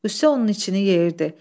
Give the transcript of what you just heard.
Qüssə onun içini yeyirdi.